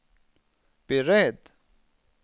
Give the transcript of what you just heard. beredd